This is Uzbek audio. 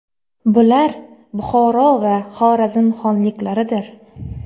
Bular Buxoro va Xorazm xonliklaridir.